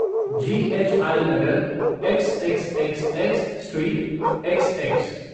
ji H I नगर, x x x x street, XX